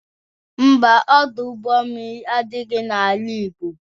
Ḿbà, Ọdụ ụgbọ mmiri adịghị n'ala Igbo